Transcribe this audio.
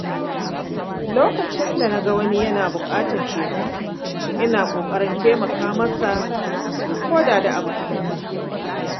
Lokacin da na ga wani yana buƙatar taimako, ina ƙoƙarin taimaka masa koda da abu kaɗan ne.